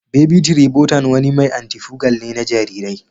Baby tribotan wani mai anti-fugal ne ga jarirai.